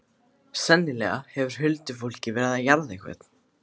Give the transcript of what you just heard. Sennilega hefur huldufólkið verið að jarða einhvern.